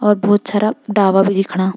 और भोत सारा भी दिखणा।